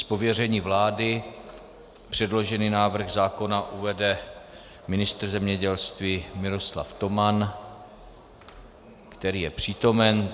Z pověření vlády předložený návrh zákona uvede ministr zemědělství Miroslav Toman, který je přítomen.